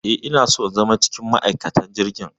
Eh, ina so na zama cikin ma'aikatan jirgin.